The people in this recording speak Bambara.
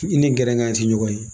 I ni gɛrɛgan tɛ ɲɔgɔn ye